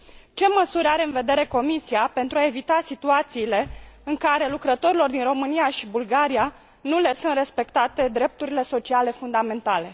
Ce măsuri are în vedere Comisia pentru a evita situațiile în care lucrătorilor din România și Bulgaria nu le sunt respectate drepturile sociale fundamentale?